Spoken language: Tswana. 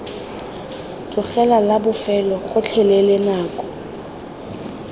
tlogela la bofelo gotlhelele nako